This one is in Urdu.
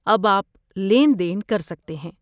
اب آپ لین دین کر سکتے ہیں